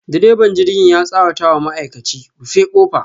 direban jirgin ya tsawata wa ma'aikachi, rufe kofa.